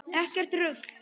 Ekkert rugl!